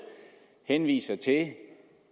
henviser til